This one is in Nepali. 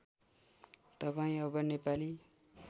तपाईँ अब नेपाली